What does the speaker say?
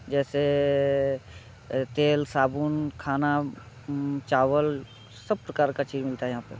जैसे अ तेल साबुन खाना उम-चावल सब प्रकार का चीज मिलता है यहाँ पे।